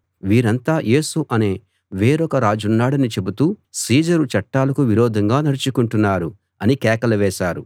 వీరంతా యేసు అనే వేరొక రాజున్నాడని చెబుతూ సీజరు చట్టాలకు విరోధంగా నడుచుకుంటున్నారు అని కేకలు వేశారు